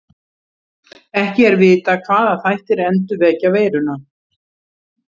Ekki er vitað hvaða þættir endurvekja veiruna.